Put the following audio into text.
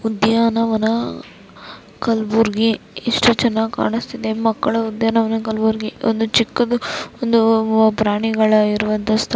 ಉದ್ಯಾನವನ ಕಲ್ಬುರ್ಗಿ ಎಷ್ಟು ಚೆನ್ನಾಗ್ ಕಾಣಿಸ್ತಿದೆ ಮಕ್ಕಳು ಉದ್ಯಾನವನ ಕಲ್ಬುರ್ಗಿ ಒಂದು ಚಿಕ್ಕದ್ದು ಒಂದು ಪ್ರಾಣಿಗಳ ಇರುವಂತಹ ಸ್ಥಳ .